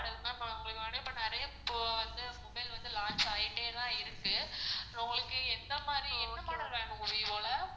ma'am இப்போ நெறைய mobile வந்து launch ஆயிட்டே தான் இருக்கு உங்களுக்கு எந்த மாரி எந்த model வேணும் ma'am vivo ல